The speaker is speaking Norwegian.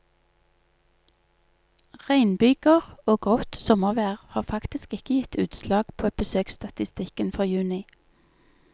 Regnbyger og grått sommervær har faktisk ikke gitt utslag på besøksstatistikken for juni.